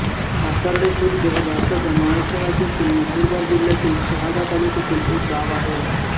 काकर्डे खुर्द हे भारताच्या महाराष्ट्र राज्यातील नंदुरबार जिल्ह्यातील शहादा तालुक्यातील एक गाव आहे